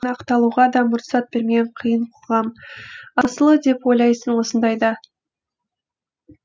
ақталуға да мұрсат бермеген қиын қоғам асылы деп ойлайсың осындайда